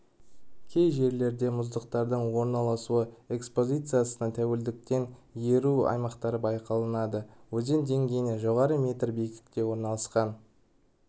кей жерлерде мұздықтардың орналасу экспозициясына тәуелділіктен еру аймақтары бақыланады өзен деңгейінен жоғары метр биіктікте орналасқан